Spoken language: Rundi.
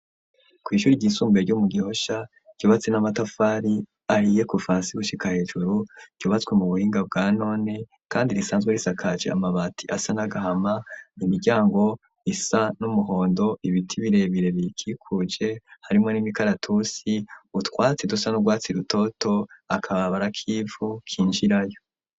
kw'ishure ryisumbuye ryo mu gihosha ryubatse n'amatafari ahiye kuva hasi gushika hejuru ryubatswe mu buhinga bwa none kandi risanzwe risakaje amabati asa n'agahama n'imiryango isa n'umuhondo ibiti birebire birikikuje harimwo n'imikaratusi utwatsi dusa n'ugwatsi rutoto akabarabara k'ivu kinjirayo.